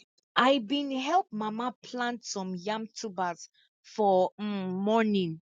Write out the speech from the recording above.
i bin help mama plant some yam tubers for um morning